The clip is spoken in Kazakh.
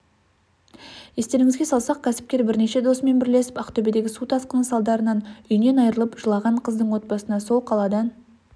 естеріңізге салсақ кәсіпкер бірнеше досымен бірлесіп ақтөбедегі су тасқыны салдарынанүйінен айырылып жылаған қыздың отбасына сол қаладан